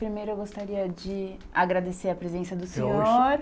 Primeiro, eu gostaria de agradecer a presença do senhor.